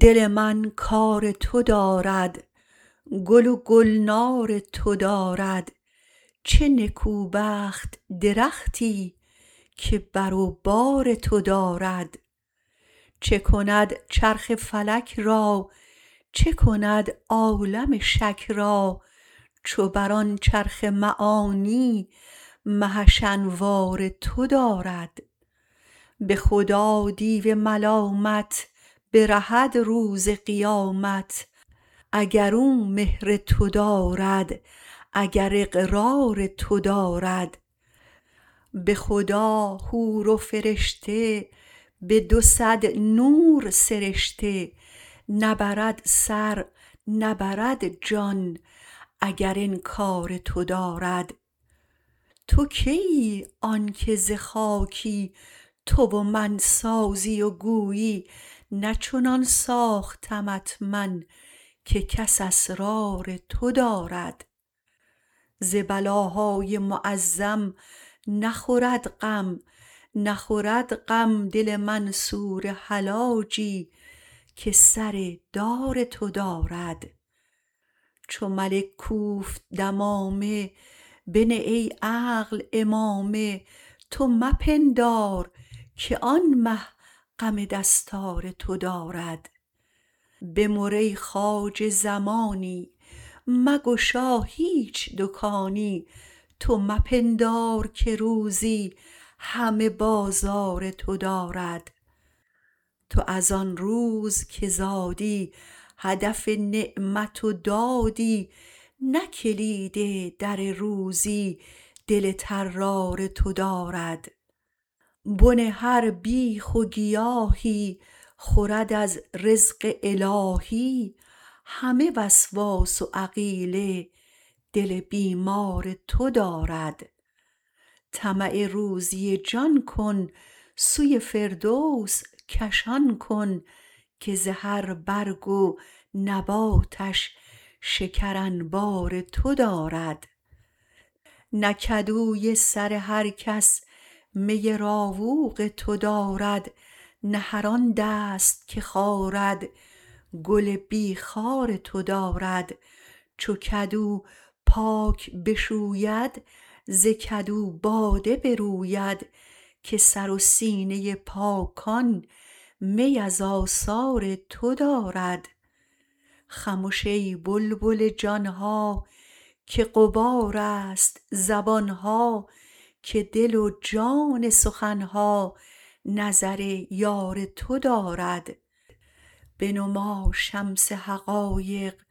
دل من کار تو دارد گل و گلنار تو دارد چه نکوبخت درختی که بر و بار تو دارد چه کند چرخ فلک را چه کند عالم شک را چو بر آن چرخ معانی مهش انوار تو دارد به خدا دیو ملامت برهد روز قیامت اگر او مهر تو دارد اگر اقرار تو دارد به خدا حور و فرشته به دو صد نور سرشته نبرد سر نبرد جان اگر انکار تو دارد تو کیی آنک ز خاکی تو و من سازی و گویی نه چنان ساختمت من که کس اسرار تو دارد ز بلاهای معظم نخورد غم نخورد غم دل منصور حلاجی که سر دار تو دارد چو ملک کوفت دمامه بنه ای عقل عمامه تو مپندار که آن مه غم دستار تو دارد بمر ای خواجه زمانی مگشا هیچ دکانی تو مپندار که روزی همه بازار تو دارد تو از آن روز که زادی هدف نعمت و دادی نه کلید در روزی دل طرار تو دارد بن هر بیخ و گیاهی خورد از رزق الهی همه وسواس و عقیله دل بیمار تو دارد طمع روزی جان کن سوی فردوس کشان کن که ز هر برگ و نباتش شکر انبار تو دارد نه کدوی سر هر کس می راوق تو دارد نه هر آن دست که خارد گل بی خار تو دارد چو کدو پاک بشوید ز کدو باده بروید که سر و سینه پاکان می از آثار تو دارد خمش ای بلبل جان ها که غبارست زبان ها که دل و جان سخن ها نظر یار تو دارد بنما شمس حقایق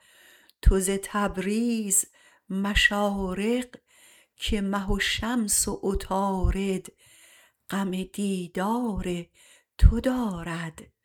تو ز تبریز مشارق که مه و شمس و عطارد غم دیدار تو دارد